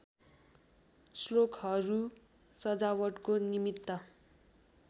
श्लोकहरू सजावटको निमित्त